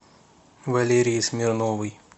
валерии смирновой